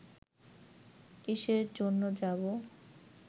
কিসের জন্য যাবো